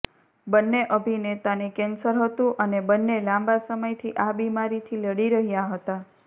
બંને અભિનેતાને કેન્સર હતું અને બંને લાંબા સમયથી આ બીમારીથી લડી રહ્યા હતા